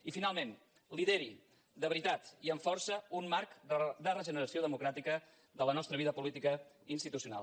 i finalment lideri de veritat i amb força un marc de regeneració democràtica de la nostra vida política institucional